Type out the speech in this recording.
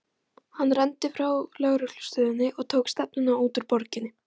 Hann renndi frá lögreglustöðinni og tók stefnuna út úr borginni.